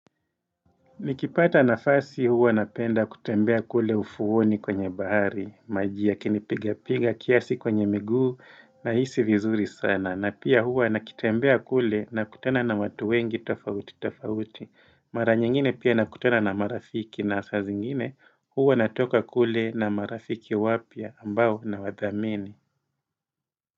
Nikipata nafasi huwa napenda kutembea kule ufuoni kwenye bahari, maji yakinipiga piga kiasi kwenye miguu na hisi vizuri sana, na pia huwa nikitembea kule nakutana na watu wengi tofauti tofauti, mara nyingine pia nakutana na marafiki na saa zingine huwa natoka kule na marafiki wapya ambao nawathamini.